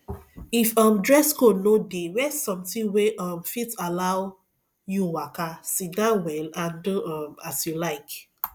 if um dress code no de wear something wey um fit allow you waka sitdown well and do um as you like